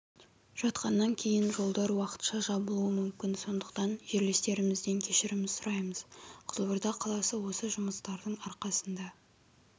жатқаннан кейін жолдар уақытша жабылуы мүмкін сондықтан жерлестерімізден кешірім сұраймыз қызылорда қаласы осы жұмыстардың арқасында